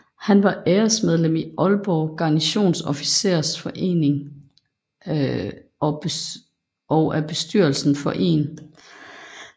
Han var æresmedlem af Aalborg Garnisons Officersforening og af bestyrelsen for 1